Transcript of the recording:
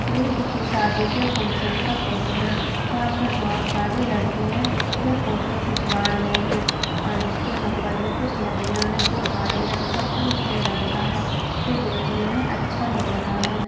यह किसी शादी के फंगक्शन का फोटो है जहाँ पर बहुत सारे लड़के है जो फोटो खिचवा रहे है और इसके ऊपर मैं कुछ लड़िया है जो हरे रंग का और उजले रंग का है जो देखने मैं अच्छा लग रहा है।